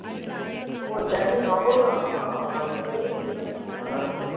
ஓ சென்னை அவ்வளவுதானா நான் இந்த தடவை ரெண்டு match இருக்கு